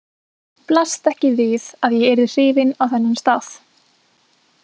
Blasti ekki við að ég yrði hrifin á þennan stað?